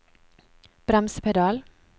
bremsepedal